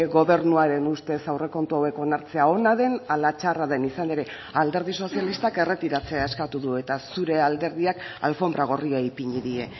gobernuaren ustez aurrekontu hauek onartzea ona den ala txarra den izan ere alderdi sozialistak erretiratzea eskatu du eta zure alderdiak alfonbra gorria ipini die